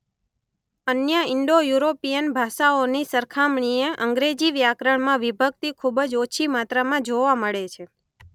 અન્ય ઇન્ડો-યુરોપીયન ભાષાઓની સરખામણીએ અંગ્રેજી વ્યાકરણમાં વિભક્તિ ખૂબ જ ઓછી માત્રામાં જોવા મળે છે.